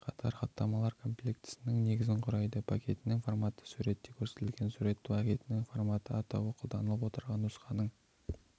қатар хаттамалар комплектісінің негізін құрайды пакетінің форматы суретте көрсетілген сурет пакетінің форматы атауы қолданылып отырған нұсқаның